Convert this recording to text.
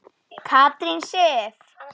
Katrín Sif.